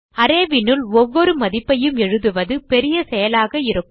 arrayனுள் ஒவ்வொரு மதிப்பையும் எழுதுவது பெரிய செயலாக இருக்கும்